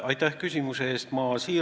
Aitäh küsimuse eest!